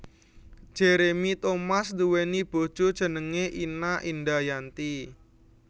Jeremy Thomas nduwèni bojo jenengé Ina Indayanti